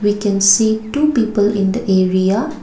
we can see two people in the area.